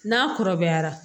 N'a kɔrɔbayara